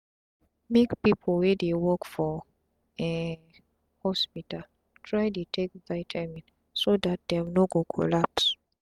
make pipu wey dey work for um hospital try dey take vitamin so dat dem no go collapse